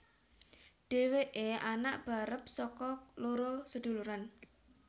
Dheweke anak barep saka loro seduluran